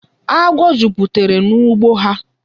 Agwọ jupụtara n'ugbo ha.